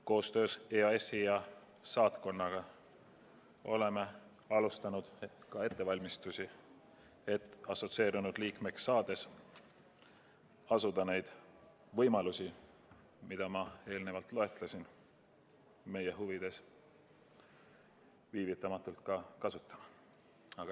Koostöös EAS-i ja saatkonnaga oleme alustanud ettevalmistusi, et assotsieerunud liikmeks saades asuda neid võimalusi, mida ma eelnevalt loetlesin, meie huvides viivitamatult ära kasutama.